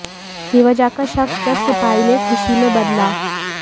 बेवजह का शक जब सिपाही ने खुशी में बदला